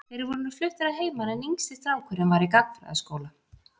Þeir voru nú fluttir að heiman en yngsti strákurinn var í gagnfræðaskóla.